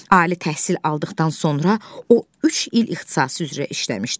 Ali təhsil aldıqdan sonra o üç il ixtisası üzrə işləmişdi.